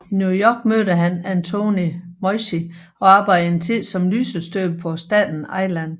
I New York mødte han Antonio Meucci og arbejdede en tid som lysestøber på Staten Island